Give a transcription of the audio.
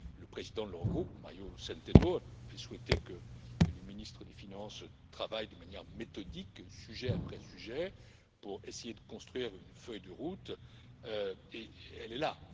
Le président de l'Eurogroupe, Mario Centeno, avait souhaité que les ministres des finances travaillent de manière méthodique, sujet après sujet, pour essayer de construire une feuille de route, et elle est là.